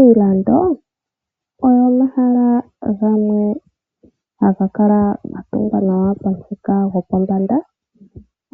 Iilando oyo omahala gamwe haga kala ga tungwa nawa pamuthika gopombanda,